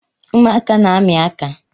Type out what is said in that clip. Ụmụaka na-ami aka